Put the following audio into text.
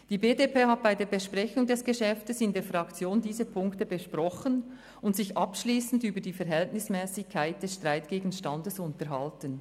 Die BDP hat bei der Besprechung des Geschäfts in der Fraktion diese Punkte besprochen und sich abschliessend über die Verhältnismässigkeit des Streitgegenstands unterhalten.